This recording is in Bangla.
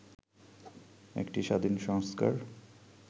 একটি স্বাধীন সংস্কার